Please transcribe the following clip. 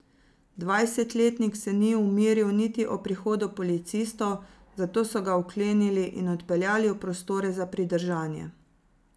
Dvajsetletnik se ni umiril niti ob prihodu policistov, zato so ga vklenili in odpeljali v prostore za pridržanje.